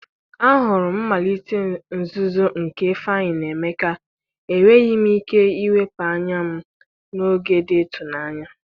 ahụrụ m mmalite nzuzo nke ifeanyi na Emeka, enweghị m ike iwepụ anya m n'oge dị ịtụnanya.